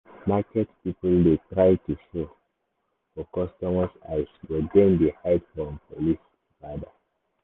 market people dey try show for customer eyes but dem dey hide from police rada.